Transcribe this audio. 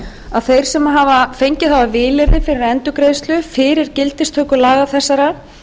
að þeir sem fengið hafa vilyrði fyrir endurgreiðslu fyrir gildistöku laga þessara